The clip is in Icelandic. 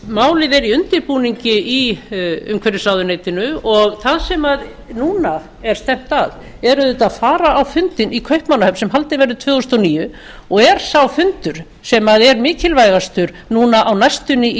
málið er í undirbúningi í umhverfisráðuneytinu og það sem núna er stefnt að er auðvitað að fara á fundinn í kaupmannahöfn sem haldinn verður tvö þúsund og níu og er sá fundur sem er mikilvægastur núna á næstunni í